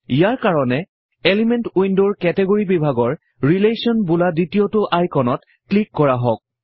ইয়াৰ কাৰণে এলিমেন্ট উইন্ডৰ কেটেগৰি বিভাগৰ ৰিলেশ্বন বোলা দ্বিতীয়তো আইকনত ক্লিক কৰা হওঁক